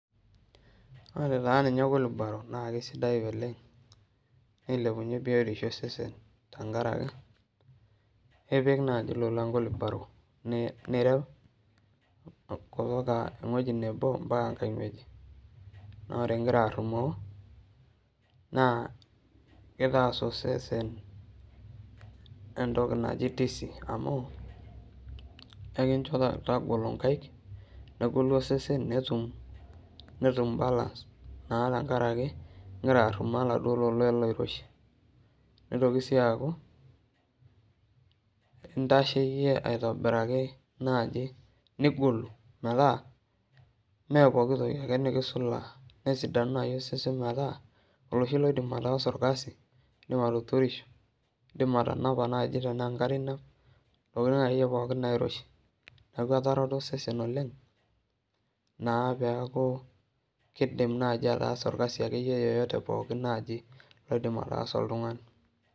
Wore taa ninye kulubaro naa kaisidai oleng', nilepunyie bietisho osesen tenkaraki. Ipik naaji ilolan kulubaro nireu, kutoka ewoji nebo ambaka enkae wueji, naa wore ikira arrumoo, naa kitaas osesen entoki naji tisi amu, ekincho tagolo inkaik, negolu osesen netum balance naa tenkaraki ikira arumoo oladuo lola loiroshi. Nitoki sii aaku, intashe iyie aitobiraki naaji nigolu metaa mee poki toki ake nikisulaa. Nesidanu naaji osesen metaa oloshi loidim ataasa orkasi, iindim atuturuisho, iindim atanapa naaji tenaa enkare inap, intokitin akeyie pookin nairoshi. Neeku etareto osesen oleng', naa peeaku kidim naaji ataasa orkasi akeyie yeyote pookin naji oidim ataasa oltungani.